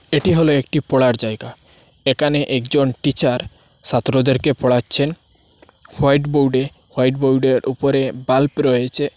এটি হল একটি পড়ার জায়গা একানে একজন টিচার সাত্রদেরকে পড়াচ্ছেন হোয়াইট বোর্ডে হোয়াইট বোর্ডের উপরে বাল্ব রয়েচে।